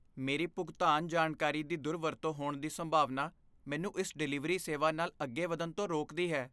ਮੇਰੀ ਭੁਗਤਾਨ ਜਾਣਕਾਰੀ ਦੀ ਦੁਰਵਰਤੋਂ ਹੋਣ ਦੀ ਸੰਭਾਵਨਾ ਮੈਨੂੰ ਇਸ ਡਿਲੀਵਰੀ ਸੇਵਾ ਨਾਲ ਅੱਗੇ ਵਧਣ ਤੋਂ ਰੋਕਦੀ ਹੈ।